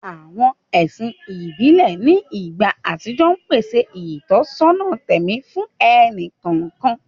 Àwọn ẹ̀sìn ìbílẹ̀ ní ìgbà àtijọ́ pèsè ìtọ́sọ́nà tẹ̀mí fún ẹnì kọ̀ọ̀kan.